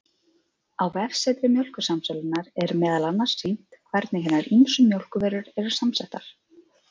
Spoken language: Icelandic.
Á vefsetri Mjólkursamsölunnar, er meðal annars sýnt hvernig hinar ýmsu mjólkurvörur eru saman settar.